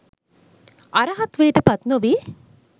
අරහත්වයට පත්නොවී